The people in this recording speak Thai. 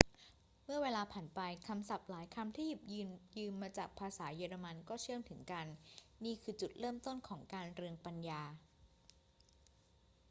เมื่อเวลาผ่านไป คำศัพท์หลายคำที่หยิบยืมมาจากภาษาเยอรมันก็เชื่อมถึงกัน นี่คือจุดเริ่มต้นของการเรืองปัญญา